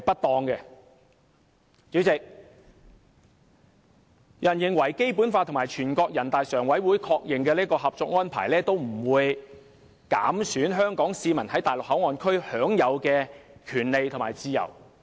代理主席，有人認為《基本法》和全國人民代表大會常務委員會確認的《合作安排》也不會減損香港市民在內地口岸區享有的權利和自由。